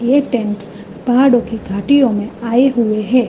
ये टेंट पहाड़ों की घाटियों मे आए हुए है।